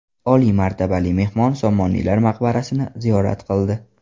Oliy martabali mehmon Somoniylar maqbarasini ziyorat qildi.